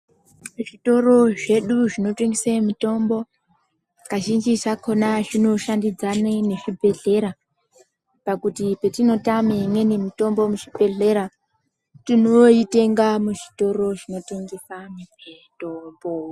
Zvitoro zvedu zvinotengese mitombo kazhinji zvakona zvinoshandidzana nezvibhedhlera pakuti petinote mitombo imweni muzvibhedhlera tinoitenga muzvitoro zvinotengesa mitombo.